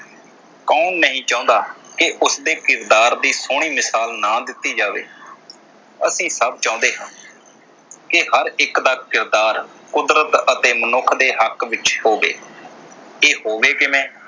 ਕੌਣ ਨਹੀਂ ਚਾਹੁੰਦਾ ਕਿ ਉਸਦੇ ਕਿਰਦਾਰ ਦੀ ਸੋਹਣੀ ਮਿਸਾਲ ਨਾ ਦਿੱਤੀ ਜਾਵੇ ਅਤੇ ਸਭ ਚਾਹੁੰਦੇ ਹਨ ਕਿ ਹਰ ਇਕ ਦਾ ਕਿਰਦਾਰ ਕੁਦਰਤ ਅਤੇ ਮਨੁੱਖ ਦੇ ਹੱਕ ਵਿਚ ਹੋਵੇ ਇਹ ਹੋਵੇ ਕਿਵੇਂ